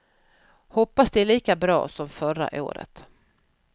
Hoppas det är lika bra som förra året.